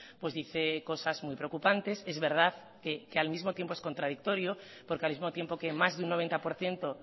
pues dice cosas muy preocupantes es verdad que al mismo tiempo es contradictorio porque al mismo tiempo que más de un noventa por ciento